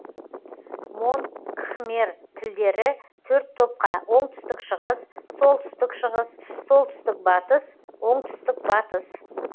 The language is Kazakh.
мон кхмер тілдері төрт топқа оңтүстік шығыс солтүстік шығыс солтүстік батыс оңтүстік батыс